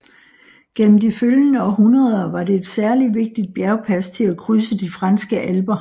Gennem de følgende århundreder var det et særligt vigtigt bjergpas til at krydse de franske alper